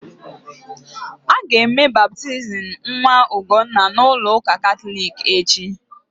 Aga eme baptizim nwa Ugonna's na ụka Katọlik echi